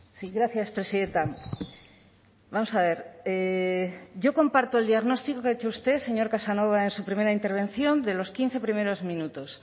sí gracias presidenta vamos a ver yo comparto el diagnóstico que ha hecho usted señor casanova en su primera intervención de los quince primeros minutos